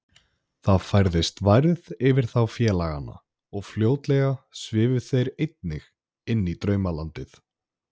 Það færðist værð yfir þá félagana og fljótlega svifu þeir einnig inní draumalandið.